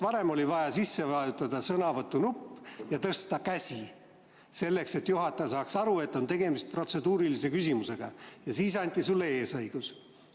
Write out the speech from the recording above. Varem oli vaja sisse vajutada sõnavõtunupp ja tõsta käsi, et juhataja saaks aru, et tegemist on protseduurilise küsimusega, ja siis anti sulle eesõigus.